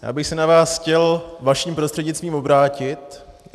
Já bych se na vás chtěl vaším prostřednictvím obrátit.